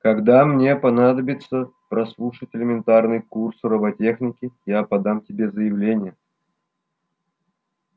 когда мне понадобится прослушать элементарный курс роботехники я подам тебе заявление